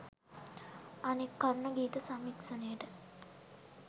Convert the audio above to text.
අනෙක් කරුණ ගීත සමීක්ෂණයට